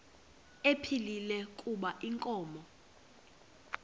ephilile kuba inkomo